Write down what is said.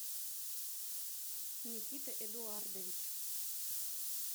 никита эдуардович